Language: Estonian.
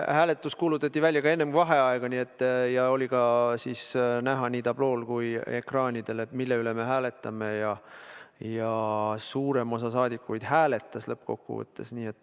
Hääletus kuulutati välja enne vaheaega ja oli ka näha nii tablool kui ekraanidel, mille üle me hääletame, ja suurem osa rahvasaadikuid hääletas lõppkokkuvõttes.